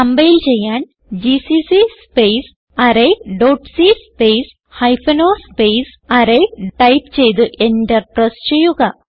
compile ചെയ്യാൻ GCC space array dot c space hyphen o space array type ചെയ്ത് enter press ചെയ്യുക